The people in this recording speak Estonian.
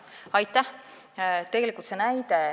Aitäh!